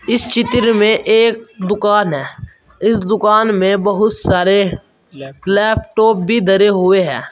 इस चित्र में एक दुकान है इस दुकान में बहुत सारे लैप लैपटॉप भी धरे हुए हैं।